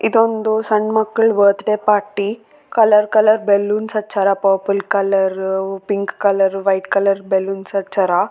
ಇದೊಂದು ಸಣ್ಣ್ ಮಕ್ಕ್ಳ್ birthday party colour colour balloons ಹಚ್ಚಾರ purple colour pink colour white colour balloons ಹಚ್ಚಾರ.